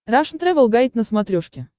рашн тревел гайд на смотрешке